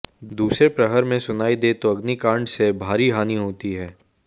दूसरे प्रहर में सुनाई दे तो अग्निकांड से भारी हानि होती है